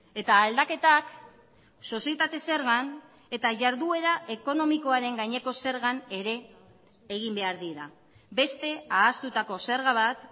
eta aldaketak sozietate zergan eta jarduera ekonomikoaren gaineko zergan ere egin behar dira beste ahaztutako zerga bat